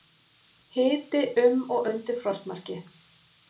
Hiti um og undir frostmarki